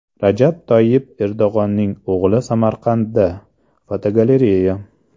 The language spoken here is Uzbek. Rajab Toyyib Erdo‘g‘onning o‘g‘li Samarqandda (fotogalereya).